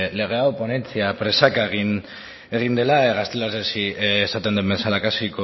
lege hau ponentzia presaka egin dela gaztelaniaz esaten den bezala casi